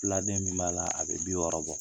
Filaden min b'a la, a bɛ bi wɔɔrɔ bɔ.